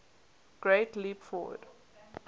great leap forward